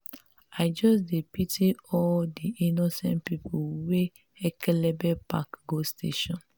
i just dey pity all di innocent pipu wey ekelebe pack go station.